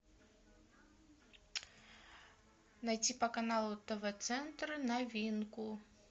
найти по каналу тв центр новинку